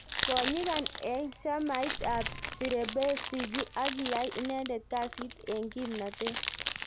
Ko nyigan eng chamait ap Firebase ziggy ak kiyai inendet kasiit eng kimnateet